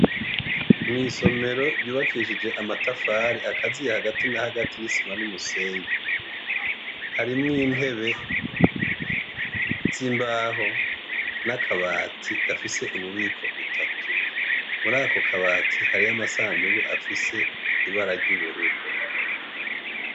Mw'isomero ryubakishije amatafari akaziye hagati na hagati n'isima n'umusenyi. Harimwo intebe z'imbaho n'akabati gafise ububiko butatu. Muri ako kabati hariyo amasandugu afise ibara ry'ubururu.